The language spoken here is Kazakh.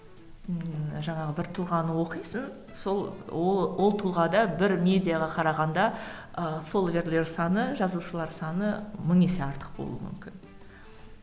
ммм жаңағы бір тұлғаны оқисың сол ол ол тұлғада бір медиаға қарағанда ы саны жазушылар саны мың есе артық болуы мүмкін